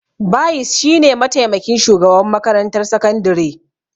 Bayis shi ne mataimakin shugaban makarantar sakandire